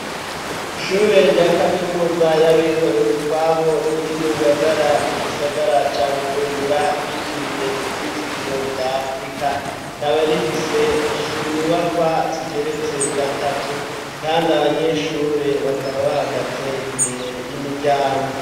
Ishure rya kaminuza y'abikorere utwabo riri mu Ngagara mu gisagara ca Bujumbura ryitiriwe ivyizigiro vya afurika rikaba rifise inyubakwa zigeretse gatatu kandi abanyeshure bakaba bahagaze imbere y'imiryango